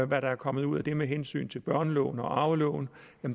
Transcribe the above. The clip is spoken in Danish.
hvad der er kommet ud af det med hensyn til børneloven og arveloven